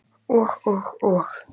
Og, og og.